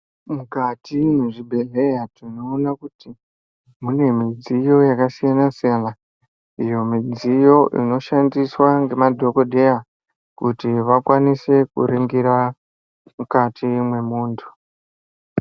Mukati mwezvibhehleya tinoona kuti munemudziyo yakasiyana siyana iyo midziyo inoshandiswa ngemadhokodheya kuti vakwanise kuringira mukati mwemuntu.